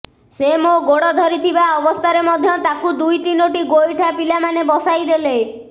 ସେ ମୋ ଗୋଡ ଧରିଥିବା ଅବସ୍ଥାରେ ମଧ୍ୟ ତାକୁ ଦୁଇ ତିନୋଟି ଗୋଇଠା ପିଲାମାନେ ବସାଇଦେଲେ